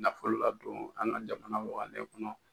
Nafo ladon an ka jamana waganen kɔnɔ.